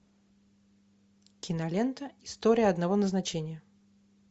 кинолента история одного назначения